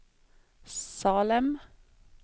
Salem